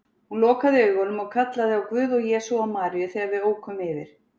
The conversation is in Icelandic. Hún lokaði augunum og kallaði á Guð og Jesú og Maríu þegar við ókum yfir